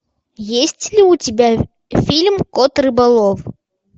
есть ли у тебя фильм кот рыболов